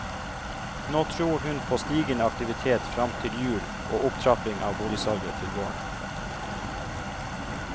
Nå tror hun på stigende aktivitet frem til jul og opptrapping av boligsalget til våren.